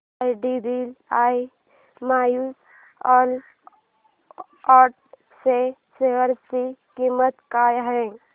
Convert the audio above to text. IDBI mutual fund च्या share ची किंमत काय आहे